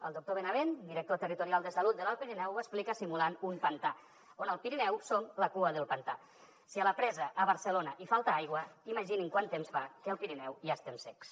el doctor benavent director territorial de salut de l’alt pirineu ho explica simulant un pantà on el pirineu som la cua del pantà si a la presa a barcelona hi falta aigua imaginin quant temps fa que al pirineu ja estem secs